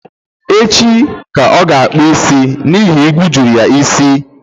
Echi ka ọ ga akpu isim n'ihi igwu juru isi